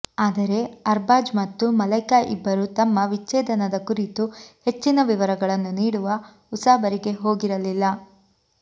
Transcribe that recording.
ಆದರೆ ಅರ್ಬಾಜ್ ಮತ್ತು ಮಲೈಕಾ ಇಬ್ಬರೂ ತಮ್ಮ ವಿಚ್ಛೇದನದ ಕುರಿತು ಹೆಚ್ಚಿನ ವಿವರಗಳನ್ನು ನೀಡುವ ಉಸಾಬರಿಗೆ ಹೋಗಿರಲಿಲ್ಲ